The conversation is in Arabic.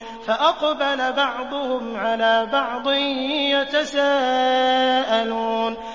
فَأَقْبَلَ بَعْضُهُمْ عَلَىٰ بَعْضٍ يَتَسَاءَلُونَ